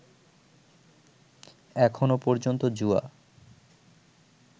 এখনও পর্যন্ত জুয়া